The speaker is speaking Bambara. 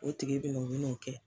O tigi be n'o o bi n'o kɛ